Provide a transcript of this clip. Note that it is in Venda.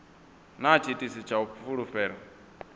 na tshiitisi tsha u fulufhela